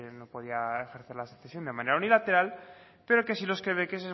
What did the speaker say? no podía ejercer la secesión de manera unilateral pero que si los quebequeses